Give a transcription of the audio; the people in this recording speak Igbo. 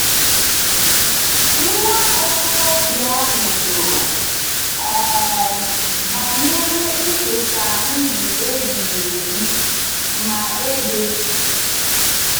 Nwa okorobịa ahụ jụrụ um banyere iketa ndụ ebighị ebi - ma ebe?